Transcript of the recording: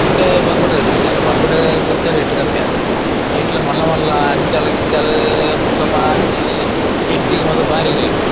ಇತ್ತೆ ಬಂಗುಡೆದ ಸೀಸನ್‌ ಬಂಗುಡೆಗ್‌ ಒಂತೆ ರೇಟ್‌ ಕಮ್ಮಿ ಆತುಂಡು ಐಟ್ಲ್‌ ಮಲ್ಲ ಮಲ್ಲ ಅಂಜಲ್‌ ಗಿಂಜಲ್‌ ಬೊಕ್ಕ ಮಾಂಜಿ ಎಟ್ಟಿಗ್‌ ಮಾತ್ರ ಬಾರಿ ರೇಟ್ .